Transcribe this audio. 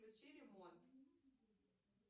включи ремонт